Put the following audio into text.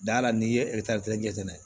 Da la n'i ye kɛ n'a ye nɛ